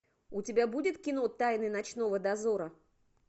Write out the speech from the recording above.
у тебя будет кино тайны ночного дозора